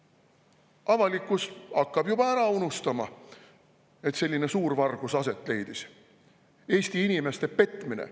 Avalikkus hakkab juba ära unustama, et selline suurvargus aset leidis, Eesti inimeste petmine.